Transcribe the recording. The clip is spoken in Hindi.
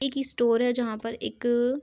एक स्टोर है जहाँ पर एक--